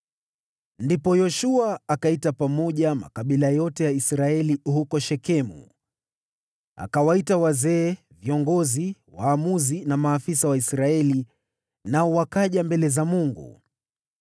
Ndipo Yoshua akaita pamoja makabila yote ya Israeli huko Shekemu. Akawaita wazee, viongozi, waamuzi na maafisa wa Israeli, nao wakaja mbele za Mungu.